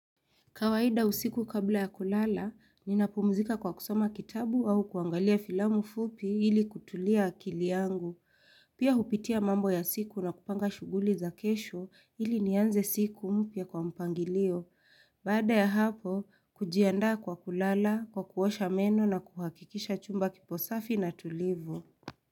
Kawaida usiku kabla ya kulala, ninapumzika kwa kusoma kitabu au kuangalia filamu fupi ili kutulia akili yangu. Pia hupitia mambo ya siku na kupanga shughuli za kesho ili nianze siku mpya kwa mpangilio. Baada ya hapo, kujiandaa kwa kulala, kwa kuosha meno na kuhakikisha chumba kipo safi na tulivu.